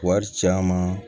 Wari caman